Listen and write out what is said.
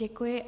Děkuji.